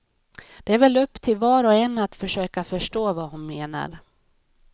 Det är väl upp till var och en att försöka förstå vad hon menar.